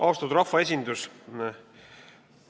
Austatud rahvaesindus!